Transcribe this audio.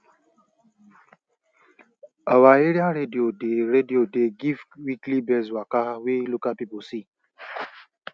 our area radio dey radio dey give weekly birds waka wey local people see